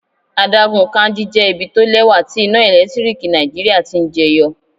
Adágún Kainji jẹ́ ibi tó lẹ́wà tí iná ẹ̀lẹ́tíríkì Nàìjíríà ti ń jẹ yọ.